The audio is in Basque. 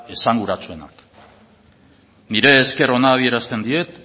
esanguratsuenak nire esker ona adierazten diet